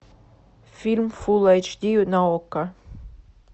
фильм фул эйч ди на окко